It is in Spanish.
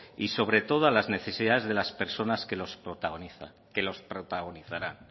y sobre todo a las necesidades de las personas que los protagonizarán